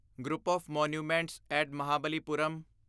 group of monuments at Mahabalipuram